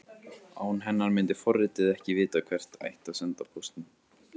Án hennar myndi forritið ekki vita hvert ætti að senda póstinn.